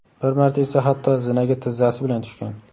Bir marta esa hatto zinaga tizzasi bilan tushgan.